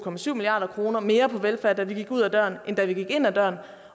milliard kroner mere på velfærd da vi gik ud ad døren end da vi gik ind ad døren